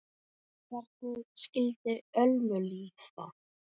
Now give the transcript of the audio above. Hvernig skyldi Ölmu líða?